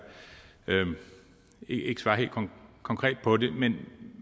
ikke svarer helt konkret på det men